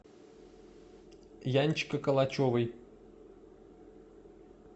янчика калачевой